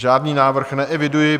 Žádný návrh neeviduji.